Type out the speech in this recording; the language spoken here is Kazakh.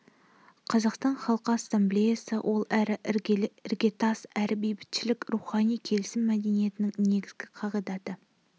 қазақстан халқы ассамблеясы ол әрі іргетас әрі бейбітшілік рухани келісім мәдениетінің негізгі қағидаты